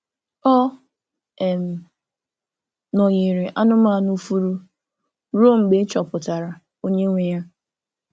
Ọ um nọ̀nyerè anụ́manụ fùurù ruo mgbe e chọpụtara onye nwe ya.